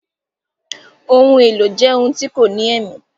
Ohun èlò jẹ ohun tí kò ní èmí